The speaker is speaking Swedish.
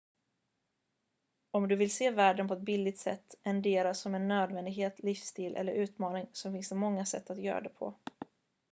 om du vill se världen på ett billigt sätt endera som en nödvändighet livsstil eller utmaning så finns det många sätt att göra det på